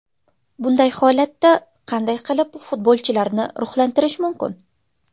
Bunday holatda qanday qilib futbolchilarni ruhlantirish mumkin?